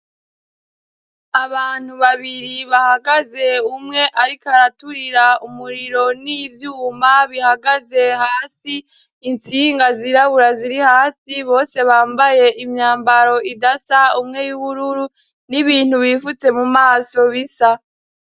Abantu babiri bahagaze umwe, ariko araturira umuriro n'ivyuma bihagaze hasi insinga zirabura ziri hasi bose bambaye imyambaro idasa umwe y'ubururu n'ibintu bifutse mu maso bisa.